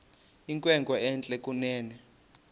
inkwenkwe entle kunene